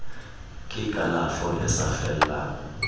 ke kalafo e sa fellang